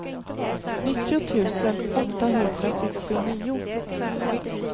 nittio tusen åttahundrasextionio